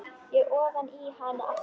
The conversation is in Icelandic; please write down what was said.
Og ofan í hana aftur.